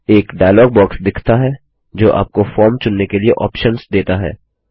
एक dialog box दिखता है जो आपको फॉर्म चुनने के लिए ऑप्शन्स देता है